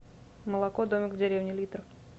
молоко домик в деревне литр